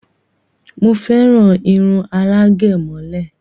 Mo féràn irun alágẹ̀mọ́lẹ̀